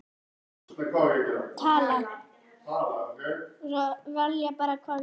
Ég gleymdi lyklunum, sem hann á að fá, hjá ömmu.